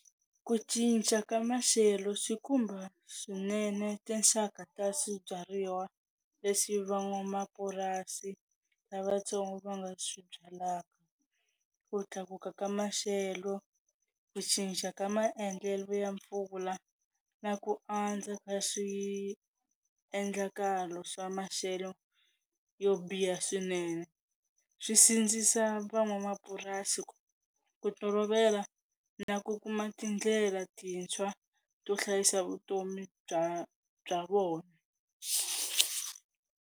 Ku cinca ka maxelo swi khumba swinene tinxaka ta swibyariwa leswi van'wamapurasi lavatsongo va nga swi byalak, ku tlakuka ka maxelo, ku cinca ka maendlelo ya mpfula na ku andza ka swi endlakalo swa maxelo yo biha swinene swi sindzisa van'wamapurasi ku ku tolovela na ku kuma tindlela tintshwa to hlayisa vutomi bya bya vona.